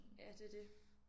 Ja det er det